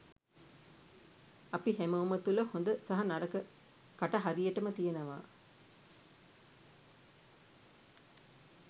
අපි හැමෝම තුළ හොඳ සහ නරක කට හරියටම තියෙනවා.